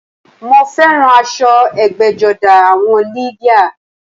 Mo féràn aso egbéjodá àwon lìdíà